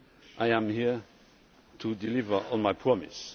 I am here to deliver on my promise.